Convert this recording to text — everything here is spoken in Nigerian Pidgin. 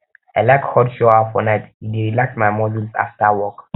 i like hot shower for night e dey relax my muscles afta work